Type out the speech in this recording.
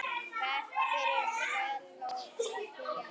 Verk fyrir selló og píanó.